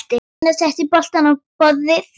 Gunnar setti bollana á borðið.